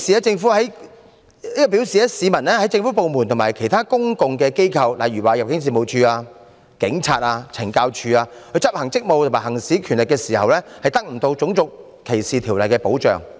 這表示當政府部門和其他公共機構，例如入境事務處、香港警務處及懲教署執行職務和行使權力時，市民得不到《種族歧視條例》的保障。